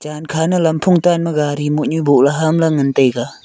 chankha ne lamphung tan ma gari mohnyu boh le hamla ngan taiga.